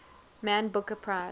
man booker prize